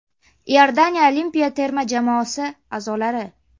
Iordaniya olimpiya terma jamoasi a’zolari.